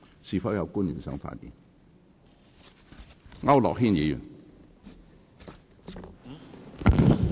是否有官員想發言？